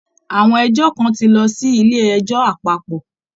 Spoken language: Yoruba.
Àwọn ẹjọ́ kan ti lọ sí ilé ẹjọ́ àpapọ̀